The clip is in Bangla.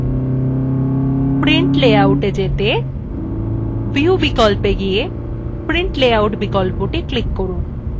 print layoutএ যেতে view বিকল্পে গিয়ে print layout বিকল্পে click করুন